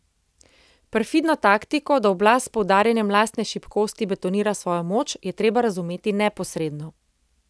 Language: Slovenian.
Perfidno taktiko, da oblast s poudarjanjem lastne šibkosti betonira svojo moč, je treba razumeti neposredno.